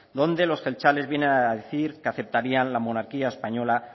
donde los jeltzales vienen a decir que aceptarían la monarquía española